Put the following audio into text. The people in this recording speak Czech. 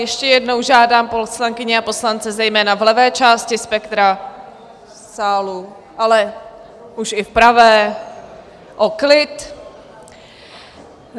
Ještě jednou žádám poslankyně a poslance, zejména v levé části spektra sálu, ale už i v pravé, o klid.